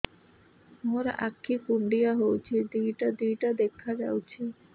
ମୋର ଆଖି କୁଣ୍ଡାଇ ହଉଛି ଦିଇଟା ଦିଇଟା ଦେଖା ଯାଉଛି